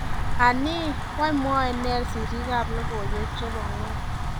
Anii? wany mwae neeh siriik ab logoiwek chebo ng'wony?